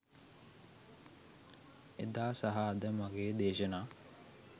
එදා සහ අද මගෙ දේශනා